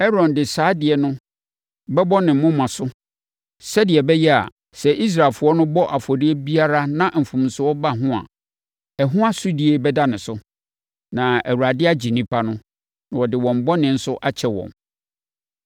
Aaron de saa adeɛ no bɛbɔ ne moma so sɛdeɛ ɛbɛyɛ a, sɛ Israelfoɔ no bɔ afɔdeɛ biara na mfomsoɔ ba ho a, ɛho asodie bɛda ne so, na Awurade agye nnipa no, na ɔde wɔn bɔne nso akyɛ wɔn.